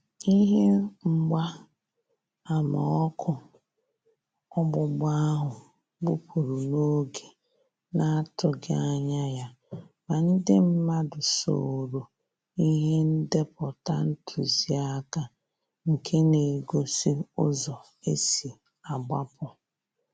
Ihe mgba ama ọkụ ọgbụgba áhụ́ gbụ́pụ́rụ̀ n'oge na-àtụ́ghị́ ányà ya, mà ndị mmàdụ̀ soòrò ìhè ndépụ̀tà ntụziaka nké na-égósí ụ́zọ́ ésí àgbapụ